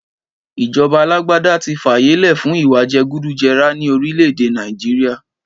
Ìjọba àlàgbàdà tí fàyẹ lẹ fún ìwá jẹgúdú jẹrà ni orile-ede Naijiria